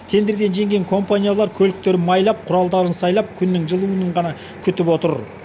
тендерден жеңген компаниялар көліктерін майлап құралдарын сайлап күннің жылынуын ғана күтіп отыр